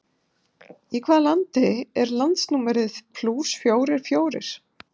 Í hvaða landi er landsnúmerið plús fjórir fjórir?